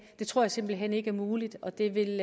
det tror jeg simpelt hen ikke er muligt og det vil